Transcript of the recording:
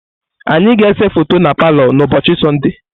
Anyị ga-ese foto na palọ n'ụbọchị Sọnde.